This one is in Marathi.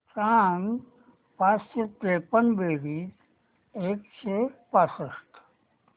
सांग पाचशे त्रेपन्न बेरीज एकशे पासष्ट